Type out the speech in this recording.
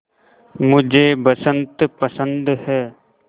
मुझे बसंत पसंद है